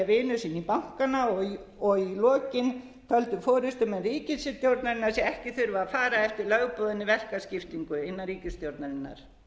vinum sínum bankana og í lokin töldu forustumenn ríkisstjórnarinnar sig ekki þurfa að fara eftir lögboðinni verkaskiptingu innan ríkisstjórnarinnar